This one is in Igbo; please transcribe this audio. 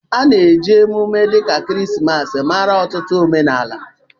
A na-eji emume emume dịka ekeresimesi mara n'ọtụtụ omenala.